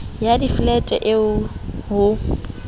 ya diflete le c ho